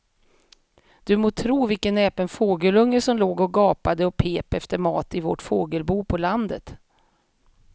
Du må tro vilken näpen fågelunge som låg och gapade och pep efter mat i vårt fågelbo på landet.